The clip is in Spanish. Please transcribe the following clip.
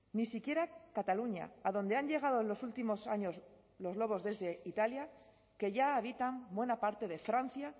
ni siquiera cataluña a donde han llegado en los últimos años los lobos desde italia que ya habitan buena parte de francia